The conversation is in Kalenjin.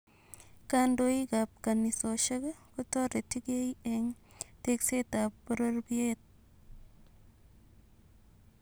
Kandoikap Kannisoshek kotoretigee en tekseetap poropyeet